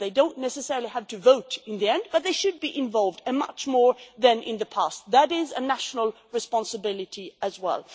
They don't necessarily have to vote in the end, but they should be involved, much more than in the past that is a national responsibility as well.